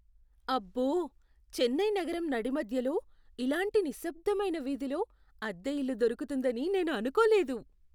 అబ్బో! చెన్నై నగరం నడిమధ్యలో ఇలాంటి నిశ్శబ్దమైన వీధిలో అద్దె ఇల్లు దొరుకుతుందని నేను అనుకోలేదు.